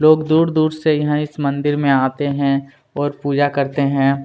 लोग दूर-दूर से यहाँ इस मंदिर में आते हैं और पूजा करते हैं।